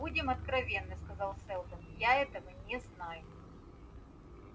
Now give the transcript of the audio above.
будем откровенны сказал сэлдон я этого не знаю